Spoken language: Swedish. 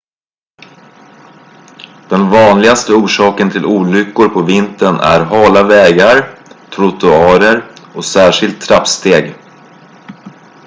den vanligaste orsaken till olyckor på vintern är hala vägar trottoarer och särskilt trappsteg